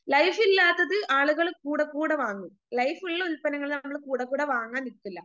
ലൈഫില്ലാത്തത് ആളുകള് കൂടെക്കൂടെ വാങ്ങും ലൈഫുള്ള ഉല്പന്നങ്ങള് കൂടെക്കൂടെ വാങ്ങാൻ നിക്കില്ല